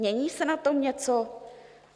Mění se na tom něco?